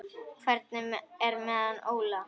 Hvernig er með hann Óla?